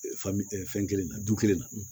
Faamu fɛn kelen na du kelen na